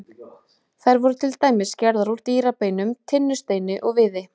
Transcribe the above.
Þær voru til dæmis gerðar úr dýrabeinum, tinnusteini og viði.